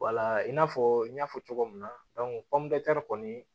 Wala in n'a fɔ n y'a fɔ cogo min na kɔni